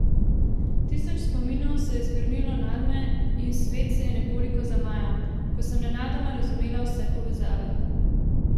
Tisoč spominov se je zgrnilo nadme in svet se je nekoliko zamajal, ko sem nenadoma razumela vse povezave.